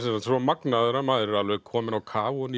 svo magnaður að maður er alveg kominn á kaf ofan